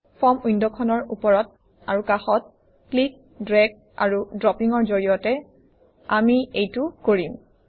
form উইণ্ডখনৰ ওপৰত আৰু কাষত ক্লিক ড্ৰেগ আৰু ড্ৰপিঙৰ জৰিয়তে আমি এইটো কৰিম